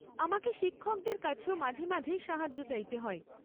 আমাকে শিক্ষকদের কাছেও মাঝেমাঝেই সাহায্য চাইতে হয়।